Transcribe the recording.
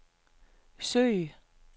søg